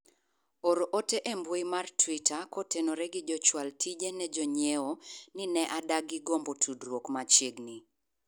or ote e mbui mar twita koternore gi jochwal tije ne jonyiewo ni ne adagi gombo tudruok machiegni